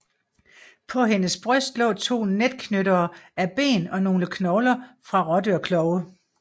På hendes bryst lå to netknyttere af ben og nogle knogler fra rådyrklove